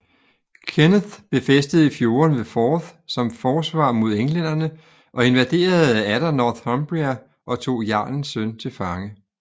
Kenneth befæstede fjordene ved Forth som forsvar mod englænderne og invaderede atter Northumbria og tog jarlens søn til fange